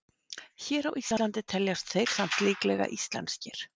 Hér á Íslandi teljast þeir samt líklega íslenskir.